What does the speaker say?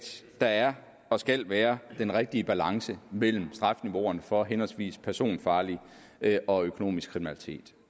der er og skal være den rigtige balance mellem strafniveauerne for henholdsvis personfarlig og økonomisk kriminalitet